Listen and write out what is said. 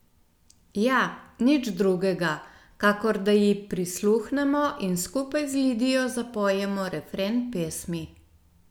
Ja, nič drugega, kakor da ji prisluhnemo in skupaj z Lidijo zapojemo refren pesmi.